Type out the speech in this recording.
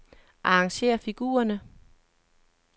Arrangér figurerne.